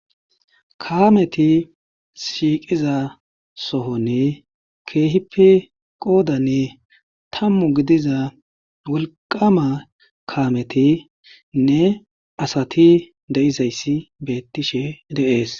kaameti shiiqiza sohoni keehipe qoodani tammu gidiza wolqqaama kaametinne asati de7izayssi beettishe de7ees.